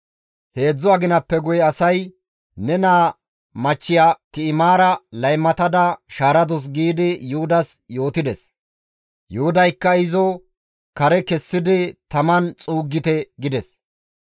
Heedzdzu aginappe guye asay, «Ne naa machchiya Ti7imaara laymatada shaaradus» giidi Yuhudas yootides. Yuhudaykka, «Izo kare kessidi taman xuuggite» gides.